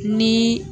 Ni